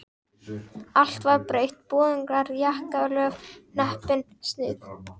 Allt var breytt, boðungar, jakkalöf, hnepping, snið.